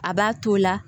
A b'a to la